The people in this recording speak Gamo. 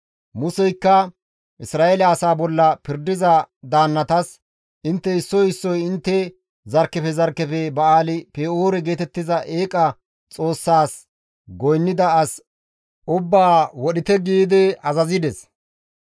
Museykka Isra7eele asaa bolla pirdiza daannatas, «Intte issoy issoy intte zarkkefe zarkkefe Ba7aali-Pe7oore geetettiza eeqa xoossazas goynnida as ubbaa wodhite» giidi azazides.